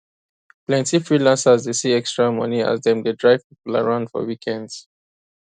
plenty freelancers dey see extra money as dem dey drive people around for weekends